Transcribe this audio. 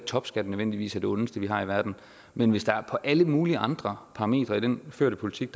topskatten nødvendigvis er det ondeste vi har i verden men hvis der på alle mulige andre parametre i den førte politik